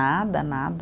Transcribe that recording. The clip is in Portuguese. Nada, nada.